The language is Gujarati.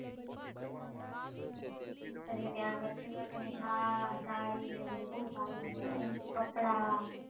ત્યાં કચ્છી work શાલ સાડીને બધું બઉ સારું મળે એમ કપડા.